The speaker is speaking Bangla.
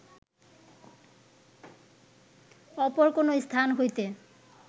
অপর কোন স্থান হইতে